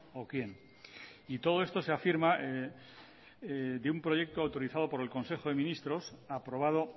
o quién y todo esto se ha afirma de un proyecto autorizado por el consejo de ministros aprobado